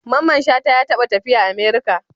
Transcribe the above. Mamman shata ya taba tafiya America?